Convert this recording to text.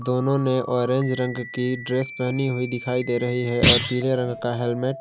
दोनों ने ऑरेंज रंग की ड्रेस पहनी हुई दिखाई दे रही है और पीले रंग का हेलमेट ।